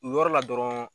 U yɔrɔ la dɔrɔn